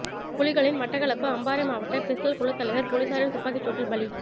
புலிகளின் மட்டக்களப்பு அம்பாறை மாவட்ட பிஸ்டல் குழு தலைவர் பொலிஸாரின் துப்பாக்கி சூட்டில் பலி